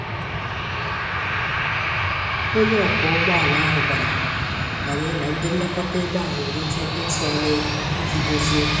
Onye ọkwọ ụgbọala ahụ gwàrà anyị na ndị nlekọta ebe a nwere ike ịtụ anya ego iji dozie okwu